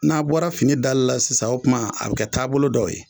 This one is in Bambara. N'a bɔra fini dali la sisan , o tuma a bɛ kɛ taabolo dɔ ye.